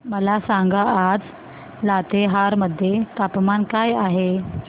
मला सांगा आज लातेहार मध्ये तापमान काय आहे